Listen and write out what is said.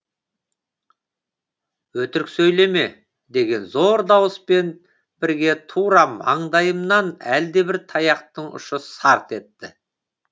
өтірік сөйлеме деген зор дауыспен бірге тура маңдайымнан әлдебір таяқтың ұшы сарт етті